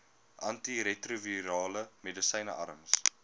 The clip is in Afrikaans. antiretrovirale medisyne arms